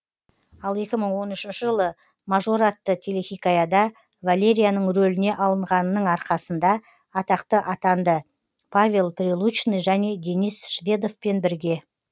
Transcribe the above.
екі мың он үшінші жылы мажор атты телехикаяда валерияның рөліне алынғанының арқасында атақты атанды павел прилучный және денис шведовпен бірге